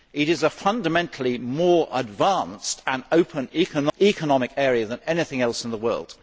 It is a fundamentally more advanced and open economic area than anything else in the world.